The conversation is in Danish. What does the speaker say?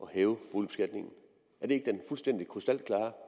hæve boligbeskatningen er det ikke den fuldstændig krystalklare